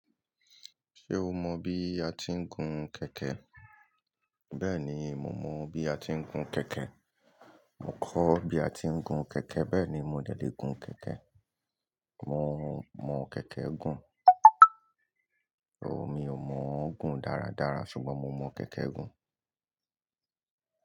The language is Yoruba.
Ṣé o mọ bí a ti ń gun kẹ̀kẹ́? Bẹ́ẹ̀ni, mo mọ bí a ti ń gun kẹ̀kẹ́. Mo kọ́ bí a ti ń gun kẹ̀kẹ́, bẹ́ẹ̀ ni mo dẹ̀ lé gun kẹ̀kẹ́. Mo mọ kẹ̀kẹ́ gùn. Oh, mi ò mòó gùn dáradára ṣùgbọ́n mo mọ kẹ̀kẹ́ gùn.